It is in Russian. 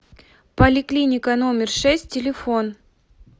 поликлиника номер шесть телефон